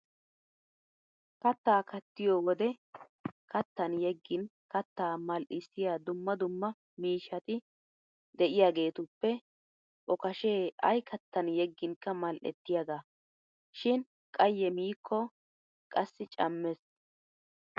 Katta kattiyo wode kattan yeggin kattaa mal'issiya dumma dumma miishshati de'iyaageetuppe okashe ayi kattan yegginkka mal'ettiyaga. Shin qayye miikko qassi cammes.